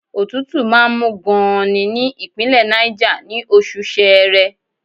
Òtútù máa ń mú gan-an ní Ìpínlẹ̀ Náìjà, ní oṣù Ṣẹẹrẹ.